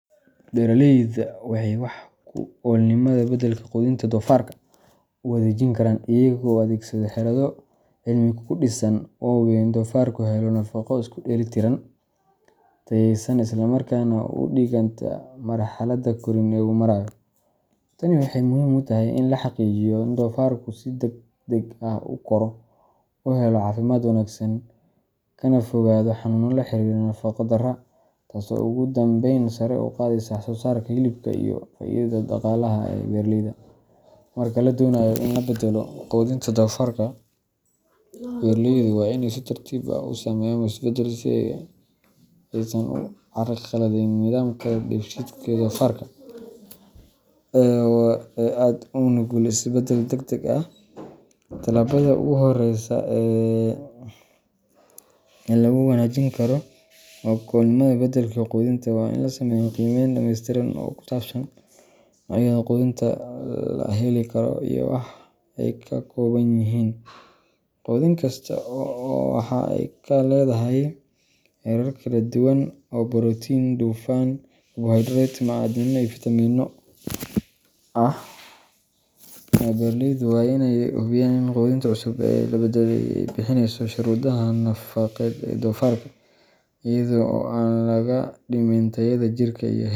Beeraleydu waxay wax ku oolnimada beddelka quudinta doofarka u wanaajin karaan iyaga oo adeegsada xeelado cilmi ku dhisan oo hubiya in doofarku helo nafaqo isku dheellitiran, tayeysan, isla markaana u dhiganta marxaladda korriin ee uu marayo. Tani waxay muhiim u tahay in la xaqiijiyo in doofarku si degdeg ah u koro, uu helo caafimaad wanaagsan, kana fogaado xanuuno la xiriira nafaqo darrada, taasoo ugu dambeyn sare u qaadaysa wax-soo-saarka hilibka iyo faa’iidada dhaqaalaha ee beeraleyda. Marka la doonayo in la beddelo quudinta doofarka, beeraleydu waa inay si tartiib ah u sameeyaan isbeddelka si aysan u carqaladeynin nidaamka dheefshiidka ee doofarka, oo aad ugu nugul isbeddel degdeg ah. Tallaabada ugu horreysa ee lagu wanaajin karo wax ku oolnimada beddelka quudinta waa in la sameeyo qiimayn dhameystiran oo ku saabsan noocyada quudinta la heli karo, iyo waxa ay ka kooban yihiin. Quudin kasta waxa ay leedahay heerar kala duwan oo borotiin, dufan, karbohaydrayt, macdano iyo fiitamiinno ah. Beeraleydu waa inay hubiyaan in quudinta cusub ee la beddelay ay buuxinayso shuruudaha nafaqeed ee doofarka, iyada oo aan laga dhimin tayada jirka.